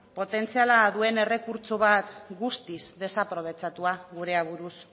potentziala duen errekurtso guztiz desprobetxatua gure aburuz